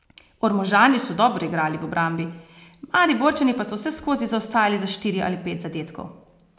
Ormožani so dobro igrali v obrambi, Mariborčani pa so vseskozi zaostajali za štiri ali pet zadetkov.